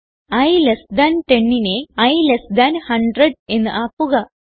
i less than 10നെ i less than 100 എന്ന് ആക്കുക